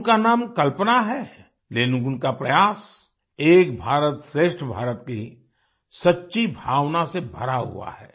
उनका नाम कल्पना है लेकिन उनका प्रयास एक भारत श्रेष्ठ भारत की सच्ची भावना से भरा हुआ है